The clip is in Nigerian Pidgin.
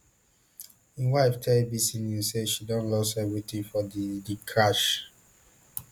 im wife tell abc news say she don lost everything for di di crash